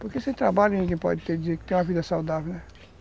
Porque sem trabalho ninguém pode ter uma vida saudável, né